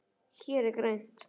Hér er grænt.